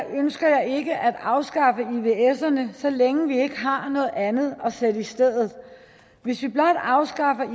ønsker jeg ikke at afskaffe ivserne så længe vi ikke har noget andet at sætte i stedet hvis vi blot afskaffer